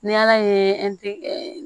Ni ala ye